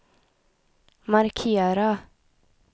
markera